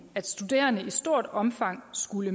at studerende i stort omfang skulle